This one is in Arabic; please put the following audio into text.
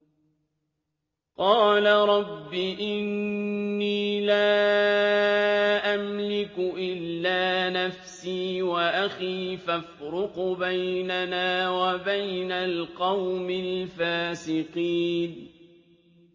قَالَ رَبِّ إِنِّي لَا أَمْلِكُ إِلَّا نَفْسِي وَأَخِي ۖ فَافْرُقْ بَيْنَنَا وَبَيْنَ الْقَوْمِ الْفَاسِقِينَ